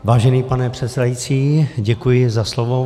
Vážený pane předsedající, děkuji za slovo.